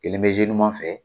Kelen bɛ zuye ɲuman fɛ.